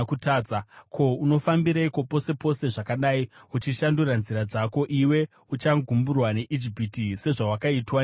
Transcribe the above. Ko, unofambireiko pose pose zvakadai, uchishandura nzira dzako? Iwe uchagumburwa neIjipiti, sezvawakaitwa neAsiria.